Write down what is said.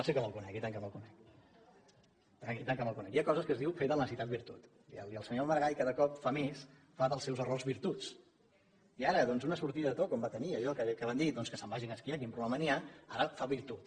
sí que me’l conec i tant que me’l conec hi ha coses que es diu fer de la necessitat virtut i el senyor maragall cada cop fa més fa dels seus errors virtuts i ara d’una sortida de to com va tenir d’allò que va dir doncs que se’n vagin a esquiar quin problema hi ha ara en fa virtut